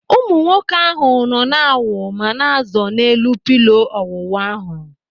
Ụmụ nwoke ahụ nọ na-awu ma na-azọ n'elu pịlo ọwuwu ahụ.